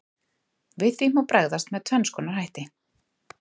Við því má bregðast með tvenns konar hætti.